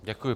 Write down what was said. Děkuji.